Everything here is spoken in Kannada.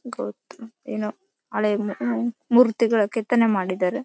ಗೋಪು ಏನೋ ಹಳೆ ಮೂರ್ತಿಗಳು ಕೆತ್ತನೆ ಮಾಡಿದಾರೆ.